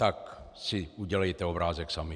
Tak si udělejte obrázek sami.